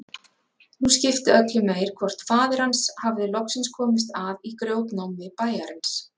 Nú skipti öllu meir hvort faðir hans hafði loksins komist að í grjótnámi bæjarins.